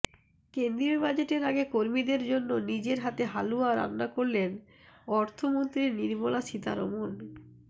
কেন্দ্রীয় বাজেটের আগে কর্মীদের জন্য নিজের হাতে হালুয়া রান্না করলেন অর্থমন্ত্রী নির্মলা সীতারমন